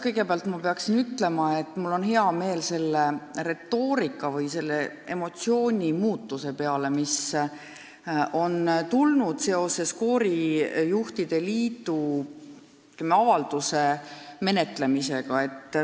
Kõigepealt pean ütlema, et mul on tõepoolest hea meel selle retoorika või selle emotsiooni muutuse üle, mis on tulnud seoses koorijuhtide liidu pöördumise menetlemisega.